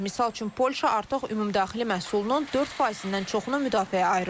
Misal üçün Polşa artıq ümumdaxili məhsulunun 4%-dən çoxunu müdafiəyə ayırır.